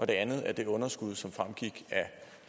det andet at det underskud som fremgik at